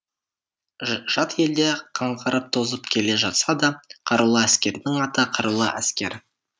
жат елде қаңғырып тозып келе жатса да қарулы әскердің аты қарулы әскер